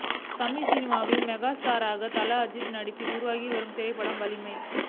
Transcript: தமிழ் சினிமாவின் மெகா ஸ்டாரான தல அஜித் நடிப்பில் உருவாகி வரும் திரைப்படம் வலிமை